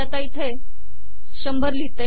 मी आता इथे १०० लिहिते